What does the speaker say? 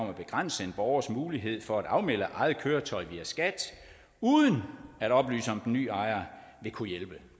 at begrænse en borgers mulighed for at afmelde eget køretøj via skat uden at oplyse om den nye ejer vil kunne hjælpe